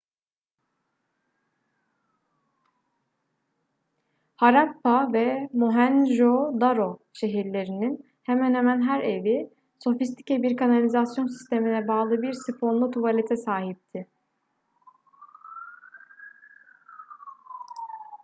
harappa ve mohenjo-daro şehirlerinin hemen hemen her evi sofistike bir kanalizasyon sistemine bağlı bir sifonlu tuvalete sahipti